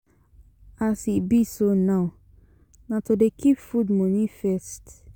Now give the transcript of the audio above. As e be so now, na to dey keep food moni first.